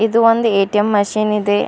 ಇದು ಒಂದು ATM machine ಇದೆ.